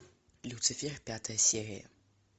люцифер пятая серия